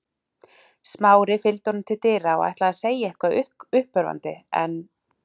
Smári fylgdi honum til dyra og ætlaði að segja eitthvað uppörvandi en